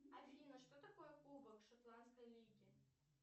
афина что такое кубок шотландской лиги